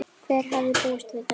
Hver hefði búist við þessu?